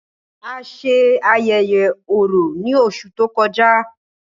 A ṣe ayẹyẹ Orò ni óṣù to kọja.